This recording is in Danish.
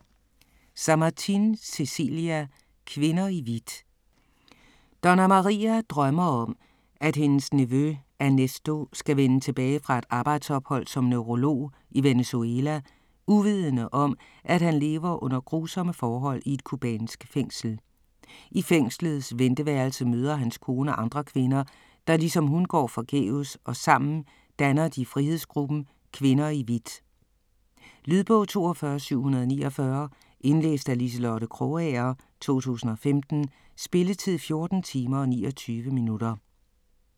Samartin, Cecilia: Kvinder i hvidt Doña Maria drømmer om at hendes nevø Ernesto skal vende tilbage fra et arbejdsophold som neurolog i Venezuela uvidende om at han lever under grusomme forhold i et cubansk fængsel. I fængslets venteværelse møder hans kone andre kvinder, der ligesom hun går forgæves og sammen danner de frihedsgruppen "Kvinder i hvidt". Lydbog 42749 Indlæst af Liselotte Krogager, 2015. Spilletid: 14 timer, 29 minutter.